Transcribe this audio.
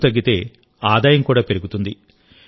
ఖర్చు తగ్గితే ఆదాయం కూడా పెరుగుతుంది